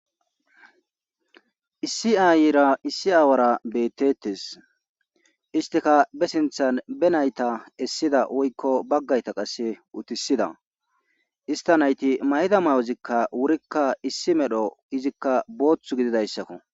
Issi ayira issi aawara beettetes isteka be sinthan benayta essida woykko baggayta qasse utisida ista nayti mayda mayozikka wurikka issi medho izikka booththu gididayssakko.